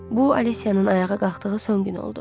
Bu, Alicianın ayağa qalxdığı son gün oldu.